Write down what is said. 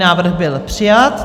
Návrh byl přijat.